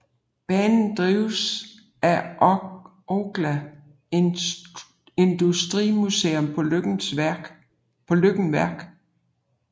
Banen drives af Orkla Industrimuseum på Løkken Verk